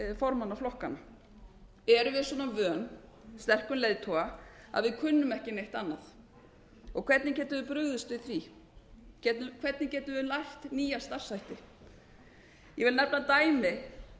formanna flokkanna erum við svona vön sterkum leiðtoga að við kunnum ekki neitt annað og hvernig getum við brugðist við því hvernig getum við lært nýja starfshætti ég vil nefna dæmi